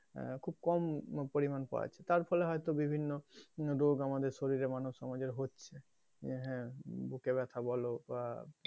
আহ খুব কম পরিমান পাওয়া যাচ্ছে তার ফলে হয়তো বিভিন্ন রোগ হয়তো আমাদের শরীরে মানুষ সমাজে হচ্ছে যে হ্যাঁ বুকে ব্যাথা বলতে,